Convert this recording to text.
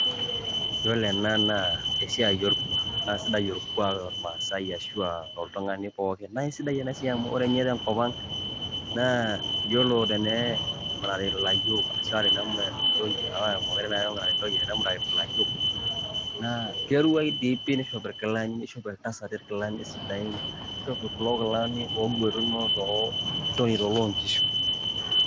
Yiolo ena naa esiai orkuak naa sidai orkuak tormaasai ashu a to oltung'ani pookin naye sidai ena siai amu ore nye tenkop ang' naa iyiolo tenemurati ilayiok ashu a tenemurati ntoyie kake mokure naa apa emurati ntoyie, enimurati ilayiok naa keruai dii pii, nishopi irkilani, nishopi iltasati ilkilani sidain, nishopi kulo kilani oogwetuno too kulo ilnjonito loonkishu.